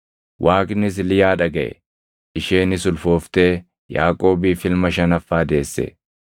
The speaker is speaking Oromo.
Waaqnis Liyaa dhagaʼe; isheenis ulfooftee Yaaqoobiif ilma shanaffaa deesse.